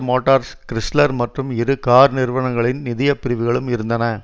Motors Chrysler மற்றும் இரு car நிறுவனங்களின் நிதிய பிரிவுகளும் இருந்தன